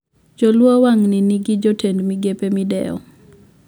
Joluo wang`ni ni gi jotend migepe mideo